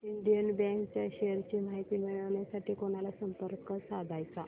Indian bank च्या shares ची माहिती मिळविण्यासाठी कोणाला संपर्क साधायचा